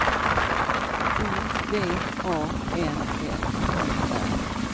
O V A N F Ö R